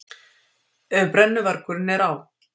Ef brennuvargurinn er á